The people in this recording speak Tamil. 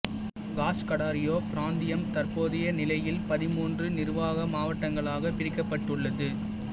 காஷ்கடார்யோ பிராந்தியம் தற்போதய நிலையில் பதின்மூன்று நிர்வாக மாவட்டங்களாக பிரிக்கப்பட்டுள்ளது